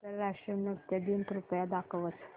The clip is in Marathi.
आंतरराष्ट्रीय नृत्य दिन कृपया दाखवच